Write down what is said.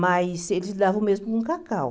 Mas eles lidavam mesmo com cacau.